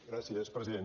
gràcies president